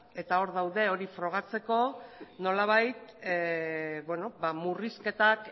eta hor daude hori frogatzeko nolabait murrizketak